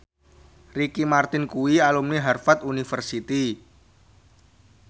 Ricky Martin kuwi alumni Harvard university